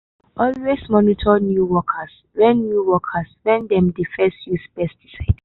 always monitor new workers when new workers when dem dey first use pesticide.